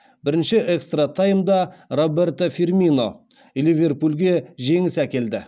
бірінші экстра таймда роберто фирмино ливерпульге жеңіс әкелді